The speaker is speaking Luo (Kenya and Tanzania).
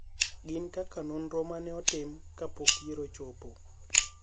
gin kaka nonro mane otim kapok yiero ochopo